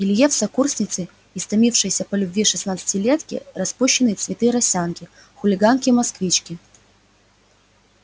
илье в сокурсницы истомившиеся по любви шестнадцатилетки распущенные цветы росянки хулиганки-москвички